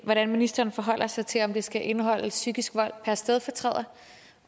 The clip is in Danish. hvordan ministeren forholder sig til om det skal indeholde psykisk vold per stedfortræder